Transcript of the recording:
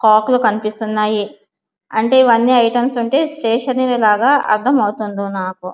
కాక్ లు కనిపిస్తునాయి. అంటే ఇవన్నీ ఐటెమ్స్ ఉంటే స్టేషనరి లాగా అర్దమవుతుంది నాకు.